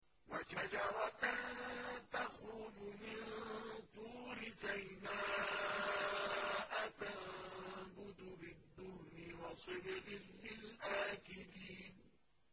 وَشَجَرَةً تَخْرُجُ مِن طُورِ سَيْنَاءَ تَنبُتُ بِالدُّهْنِ وَصِبْغٍ لِّلْآكِلِينَ